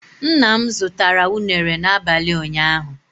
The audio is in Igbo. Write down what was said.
Ńnà mụ zụtara unere na abalị ụnyaahụ